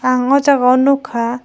ang o jaga o nogkha.